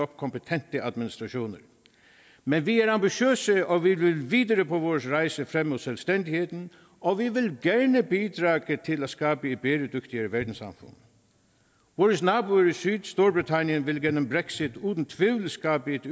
kompetente administrationer men vi er ambitiøse og vi vil videre på vores rejse frem mod selvstændigheden og vi vil gerne bidrage til at skabe et bæredygtigere verdenssamfund vores naboer i syd storbritannien vil gennem brexit uden tvivl skabe et